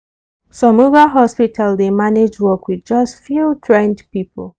some rural hospital dey manage work with just few trained people.